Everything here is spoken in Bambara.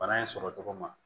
Bana in sɔrɔ tɔgɔ ma